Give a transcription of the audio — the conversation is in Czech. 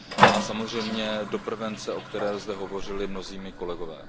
A samozřejmě do prevence, o které zde hovořili mnozí moji kolegové.